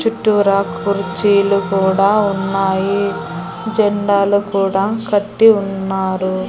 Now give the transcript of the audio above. చుట్టూరా కుర్చీలు కూడా ఉన్నాయి జెండాలు కూడా కట్టి ఉన్నారు.